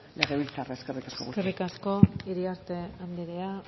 legebiltzarra eskerrik asko eskerrik asko iriarte andrea